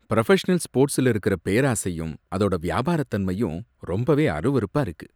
Professional ஸ்போர்ட்ஸ்ல இருக்கற பேராசையும், அதோட வியாபாரத்தன்மையும் ரொம்பவே அருவருப்பா இருக்கு.